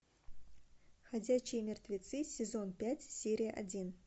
ходячие мертвецы сезон пять серия один